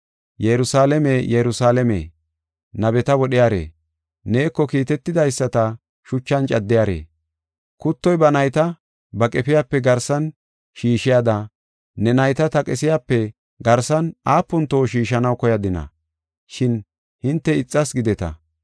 “Yerusalaame, Yerusalaame, nabeta wodhiyare, neeko kiitetidaysata shuchan caddiyare, kuttoy ba nayta ba qefiyape garsan shiishiyada ne nayta ta qesiyape garsan aapun toho shiishanaw koyadina, shin hinte ixas gideta.